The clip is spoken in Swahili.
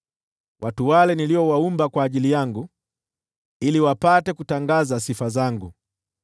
watu wale niliowaumba kwa ajili yangu, ili wapate kutangaza sifa zangu.